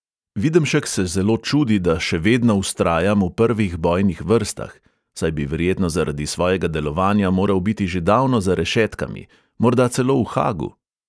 Videmšek se zelo čudi, da "še vedno vztrajam v prvih bojnih vrstah", saj bi verjetno zaradi svojega delovanja moral biti že davno za rešetkami, morda celo v haagu?